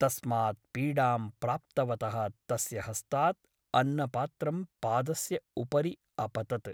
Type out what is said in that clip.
तस्मात् पीडां प्राप्तवतः तस्य हस्तात् अन्नपात्रं पादस्य उपरि अपतत् ।